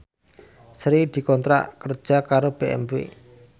Sri dikontrak kerja karo BMW